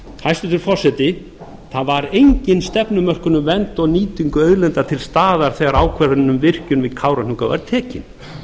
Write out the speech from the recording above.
hæstvirtur forseti það var engin stefnumörkun um verndun og nýtingu auðlinda til staðar þegar ákvörðun um virkjun við kárahnjúka var tekin